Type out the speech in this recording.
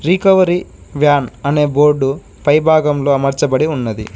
రీ కవరీ van అనే board పై భాగంలో అమర్చబడి ఉన్నది.